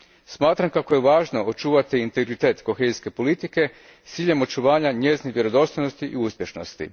Smatram kako je važno očuvati integritet kohezijske politike s ciljem očuvanja njezine vjerodostojnosti i uspješnosti.